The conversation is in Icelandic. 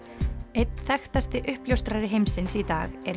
einn þekktasti uppljóstrari heimsins í dag er